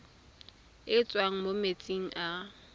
e tswang mo metsing a